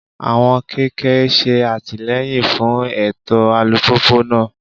Àwọn kẹ̀kẹ́ ń ṣe àtìlẹ́yìn fún ètò alùpùpù náà.